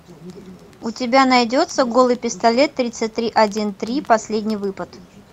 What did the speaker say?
у тебя найдется голый пистолет тридцать три один три последний выпад